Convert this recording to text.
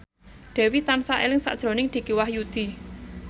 Dewi tansah eling sakjroning Dicky Wahyudi